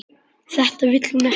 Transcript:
Þetta vill hún ekki.